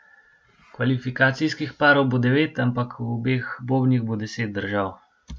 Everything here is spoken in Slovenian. Kvalifikacijskih parov bo devet, ampak v obeh bobnih bo deset držav.